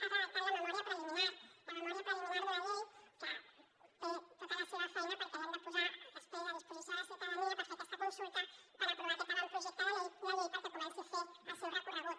ha redactat la memòria preliminar la memòria preliminar d’una llei que té tota la seva feina perquè l’hem de posar després a disposició de la ciutadania per fer aquesta consulta per aprovar aquest avantprojecte de llei perquè comenci a fer el seu recorregut